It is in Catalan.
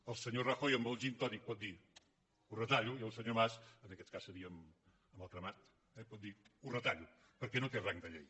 el senyor rajoy amb el gintònic pot dir ho retallo i el senyor mas en aquest cas seria amb el cremat eh pot dir ho retallo perquè no té rang de llei